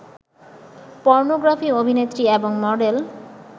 pornography অভিনেত্রী এবং model